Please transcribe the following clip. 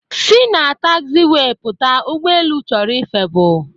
Si na taxiwee pụta! ụgbọelu chọrọ ịfepụ